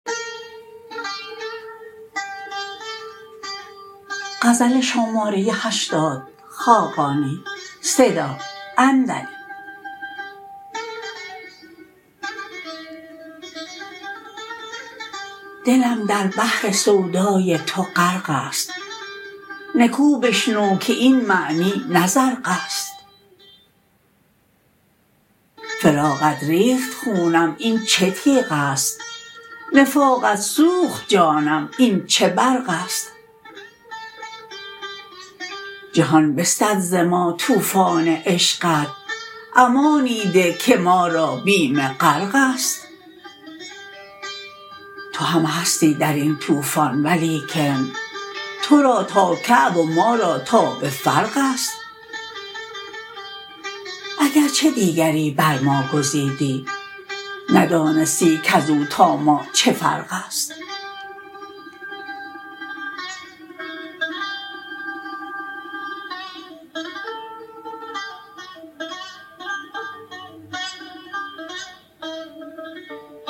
دلم در بحر سودای تو غرق است نکو بشنو که این معنی نه زرق است فراقت ریخت خونم این چه تیغ است نفاقت سوخت جانم این چه برق است جهان بستد ز ما طوفان عشقت امانی ده که ما را بیم غرق است تو هم هستی در این طوفان ولیکن تو را تا کعب و ما را تا به فرق است اگرچه دیگری بر ما گزیدی ندانستی کز او تا ما چه فرق است